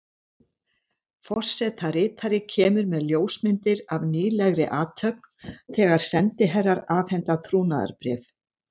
Forsetaritari kemur með ljósmyndir af nýlegri athöfn, þegar sendiherrar afhenda trúnaðarbréf.